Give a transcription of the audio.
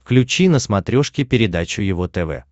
включи на смотрешке передачу его тв